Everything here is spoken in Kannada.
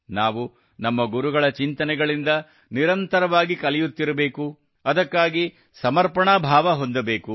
ನಾವು ನಮ್ಮ ಗುರುಗಳ ಚಿಂತನೆಗಳಿಂದ ನಿರಂತರವಾಗಿ ಕಲಿಯುತ್ತಿರಬೇಕು ಅದಕ್ಕಾಗಿ ಸಮರ್ಪಣಾ ಭಾವ ಹೊಂದಬೇಕು